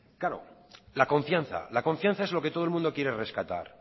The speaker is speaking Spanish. claro la confianza la confianza es lo que todo el mundo quiere rescatar